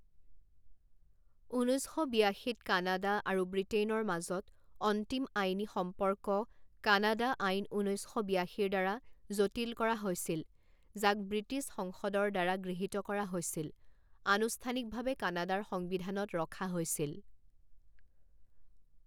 ঊনৈছ শ বিয়াশীত কানাডা আৰু ব্ৰিটেইনৰ মাজত অন্তিম আইনী সম্পৰ্ক কানাডা আইন ঊনৈছ শ বিয়াশীৰ দ্বাৰা জটিল কৰা হৈছিল যাক ব্ৰিটিছ সংসদৰ দ্বাৰা গৃহীত কৰা হৈছিল আনুষ্ঠানিকভাৱে কানাডাৰ সংবিধানত ৰখা হৈছিল।